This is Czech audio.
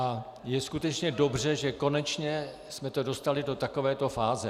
A je skutečně dobře, že konečně jsme to dostali do takovéto fáze.